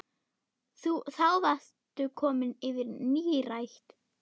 Þá varstu komin yfir nírætt.